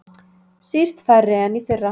Síst færri en í fyrra